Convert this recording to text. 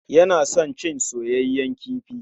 Yana son cin soyeyyen kifi.